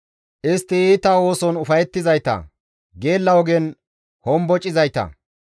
Istti iita ooson ufayettizayta; geella ogen hombocizayta.